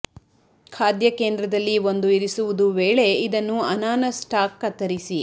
ಖಾದ್ಯ ಕೇಂದ್ರದಲ್ಲಿ ಒಂದು ಇರಿಸುವುದು ವೇಳೆ ಇದನ್ನು ಅನಾನಸ್ ಸ್ಟಾಕ್ ಕತ್ತರಿಸಿ